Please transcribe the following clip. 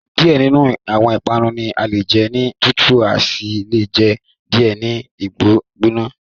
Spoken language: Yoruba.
Diẹ ninu awọn ipanu ni ale jẹ ni tutu asi le jẹ diẹ ni gbigbona